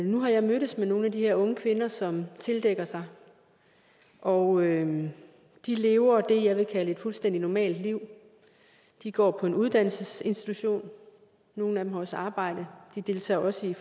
nu har jeg mødtes med nogle af de her unge kvinder som tildækker sig og de lever det jeg vil kalde et fuldstændig normalt liv de går på en uddannelsesinstitution og nogle af dem har også arbejde de deltager også i